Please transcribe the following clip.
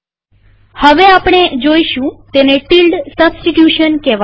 હવે આપણે જોઈશું તેને ટીલ્ડ સબસ્ટીટ્યુશન કહેવાય છે